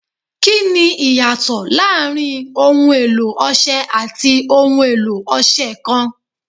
Kini iyato laarin ohun elo Ọṣẹ ati ohun elo ọṣẹ kan